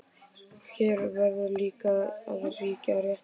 Hér verður líka að ríkja réttlæti.